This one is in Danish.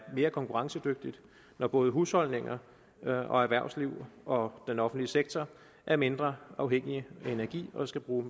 mere konkurrencedygtigt når både husholdningerne erhvervslivet og den offentlige sektor er mindre afhængige af energi og skal bruge